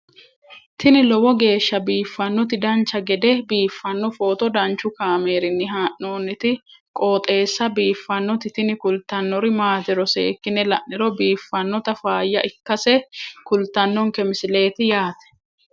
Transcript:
tini lowo geeshsha biiffannoti dancha gede biiffanno footo danchu kaameerinni haa'noonniti qooxeessa biiffannoti tini kultannori maatiro seekkine la'niro biiffannota faayya ikkase kultannoke misileeti yaate